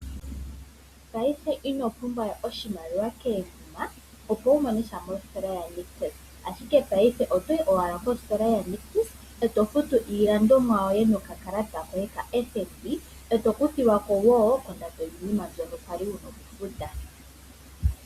Paife inopumbwa we oshimaliwa koomuma opo wu mone sha mositola yaNictus, ashike paife otoyi owala positola yaNictus e to futu iilandomwa yoye nokakalata koye koFNB e to kuthilwa ko kondando yiinima mbyoka kwali wu na okufuta.